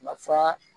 Ma furan